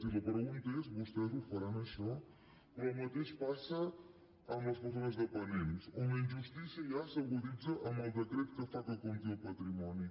i la pregunta és vostès ho faran això però el mateix passa amb les persones dependents on la injustícia ja s’aguditza amb el decret que fa que compti el patrimoni